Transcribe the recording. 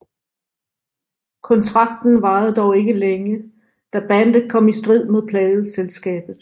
Kontrakten varede dog ikke længe da bandet kom i strid med pladeselskabet